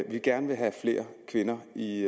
vi gerne vil have flere kvinder i